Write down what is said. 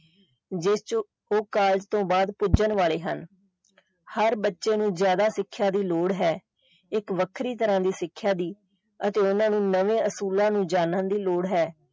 ਜਿਸ ਵਿੱਚ ਉਹ college ਤੋਂ ਬਾਅਦ ਪੁੱਜਣ ਵਾਲ਼ੇ ਹਨ ਹਰ ਬੱਚੇ ਨੂੰ ਜ਼ਿਆਦਾ ਸਿੱਖਿਆ ਦੀ ਲੋੜ ਹੈ ਇੱਕ ਵੱਖਰੀ ਤਰਾਂ ਦੀ ਸਿੱਖਿਆ ਦੀ ਅਤੇ ਓਹਨਾ ਨੂੰ ਨਵੇਂ ਅਸੂਲਾਂ ਨੂੰ ਜਾਨਣ ਦੀ ਲੋੜ ਹੈ।